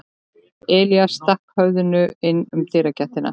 Elías stakk höfðinu inn um dyragættina.